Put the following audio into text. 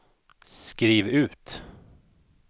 skriv ut